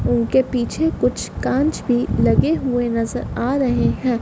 उनके पीछे कुछ कांच भी लगे हुए नजर आ रहे हैं।